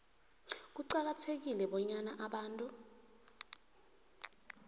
kuqakathekile bonyana abantu